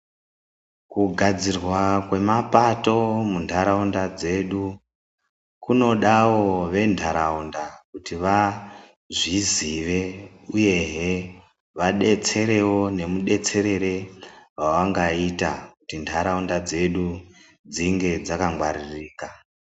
Kugadzirwa kwemapato munharaunda dzedu kunodavo venharaunda kuti vazvizive, uyehe vadetserevo nemudetserere wavangaita kuti nharaunda dzedu dzinge dzakangwaririka.